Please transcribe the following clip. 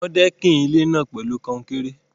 Wọ́n dẹ́kìn ilé náà pẹ̀lú kan-un-kéré.